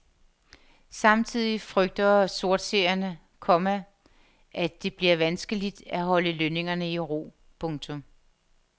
Samtidig frygter sortseerne, komma at det bliver vanskeligt at holde lønningerne i ro. punktum